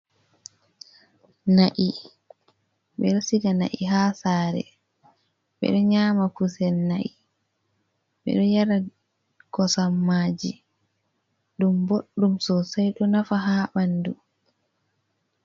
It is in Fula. Na’i ɓeɗo siga na'i ha sare ɓeɗo nyama kusel na'i ɓeɗo yara kosammaji ɗum boɗɗum sosei ɗo nafa ha ɓanɗu